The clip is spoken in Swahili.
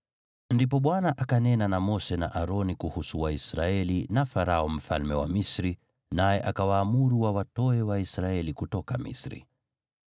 Ndipo Bwana akanena na Mose na Aroni kuhusu Waisraeli na Farao mfalme wa Misri, naye akawaamuru wawatoe Waisraeli kutoka Misri.